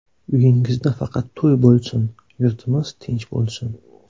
Uyingizda faqat to‘y bo‘lsin, yurtimiz tinch bo‘lsin.